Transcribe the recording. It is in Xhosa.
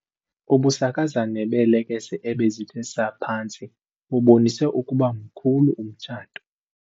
Ubusakazane beelekese ebezithe saa phantsi bubonise ukuba mkhulu umtshato.